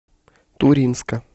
туринска